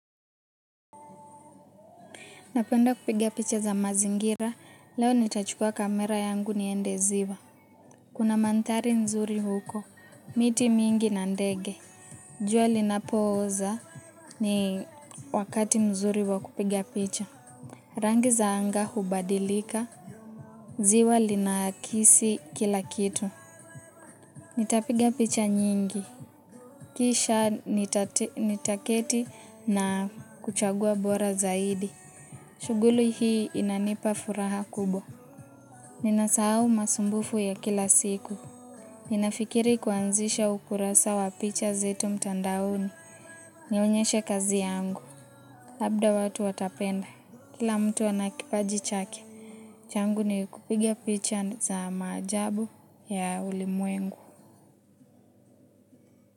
Napenda kupiga picha za mazingira, leo nitachukua kamera yangu niende ziwa. Kuna mantari nzuri huko, miti mingi na ndege. Jua linapooza ni wakati nzuri wa kupiga picha. Rangi za anga hubadilika, ziwa linakisi kila kitu. Nitapiga picha nyingi, kisha nitaketi na kuchagua bora zaidi. Shuguli hii inanipa furaha kubwa. Ninasahau masumbufu ya kila siku. Ninafikiri kuanzisha ukurasa wa picha zetu mtandaoni. Nionyeshe kazi yangu. Labda watu watapenda. Kila mtu anakipaji chake. Changu ni kupiga picha za maajabu ya ulimwengu.